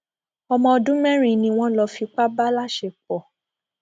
ọmọ ọdún mẹrin ni wọn lọ fipá bá láṣepọ